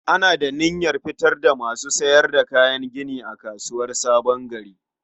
Ana da niyar fitar da masu sayar da kayan gini a kasuwar Sabon Gari.